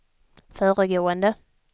föregående